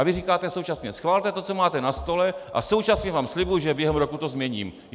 A vy říkáte současně "schvalte to, co máte na stole, a současně vám slibuji že během roku to změním"!